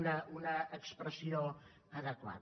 una expressió adequada